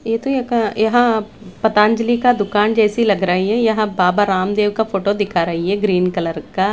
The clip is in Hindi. ये तो एक यहां पतांजलि का दुकान जैसी लग रही है यहां बाबा रामदेव का फोटो दिखा रही है ग्रीन कलर का।